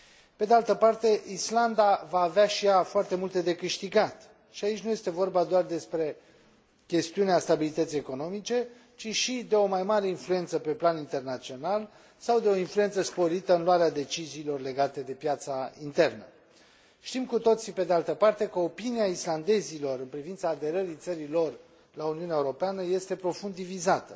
Pe de altă parte, Islanda va avea și ea foarte multe de câștigat, și aici nu este vorba doar despre chestiunea stabilității economice, ci și de o mai mare influență pe plan internațional sau de o influență sporită în luarea deciziilor legate de piața internă. Știm cu toții, pe de altă parte, că opinia islandezilor în privința aderării țării lor la Uniunea Europeană este profund divizată.